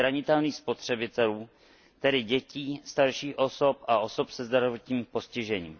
zranitelných spotřebitelů, tedy dětí, starších osob a osob se zdravotním postižením.